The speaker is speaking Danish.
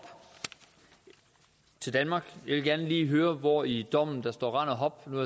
til danmark jeg vil gerne lige høre hvor i dommen der står rend og hop nu